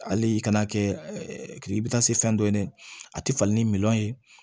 Hali i ka n'a kɛ k'i bi taa se fɛn dɔ ye ne a ti falen ni miliyɔn ye